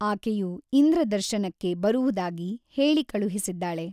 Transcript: ಆಕೆಯು ಇಂದ್ರದರ್ಶನಕ್ಕೆ ಬರುವುದಾಗಿ ಹೇಳಿ ಕಳುಹಿಸಿದ್ದಾಳೆ.